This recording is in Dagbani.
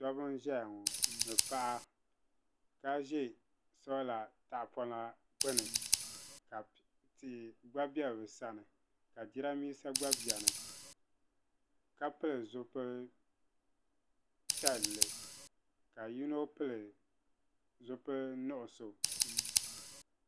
Dobbi n-ʒeya ŋɔ ni paɣa ka ʒe sola tahipɔna gbuni ka tia gba be bɛ sani ka jirambiisa gba beni ka pili zipili piɛlli ka yino pili zipili nuɣuso.